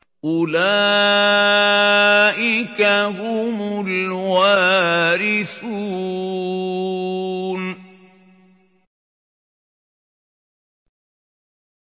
أُولَٰئِكَ هُمُ الْوَارِثُونَ